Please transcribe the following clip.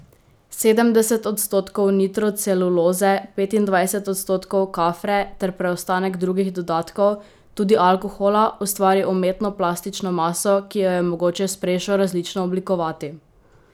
Sedemdeset odstotkov nitroceluloze, petindvajset odstotkov kafre ter preostanek drugih dodatkov, tudi alkohola, ustvari umetno plastično maso, ki jo je mogoče s prešo različno oblikovati.